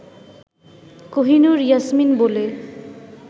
কহিনুর ইয়াসমিন বলে